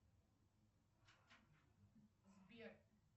сбер